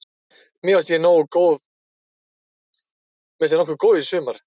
Mér fannst ég nokkuð góður í sumar.